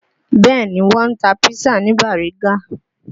Bẹ́ẹ̀ ni, Wọ́n ń tà písà ní Bariga